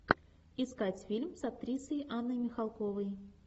искать фильм с актрисой анной михалковой